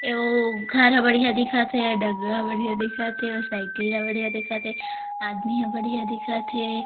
ए ओ घर हा बढ़िया दिखत हे बढ़िया दिखत हे साइकिल हा बढ़िया दिखत हे आदमी हा बढ़िया दिखत हे।